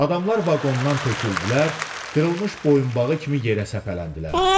Adamlar vaqondan töküldülər, qırılmış boyunbağı kimi yerə səpələndilər.